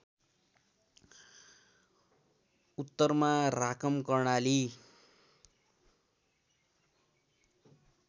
उत्तरमा राकम कर्णाली